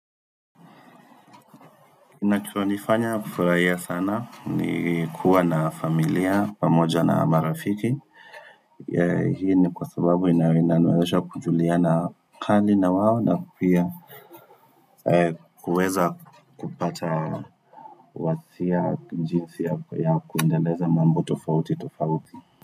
Kinachonifanya kufurahia sana, ni kuwa na familia pamoja na marafiki. Hii ni kwa sababu inaweza kujuliana hali na wao na kupiga kuweza kupata wasia jinsi ya kuendeleza mambo tofauti tofauti.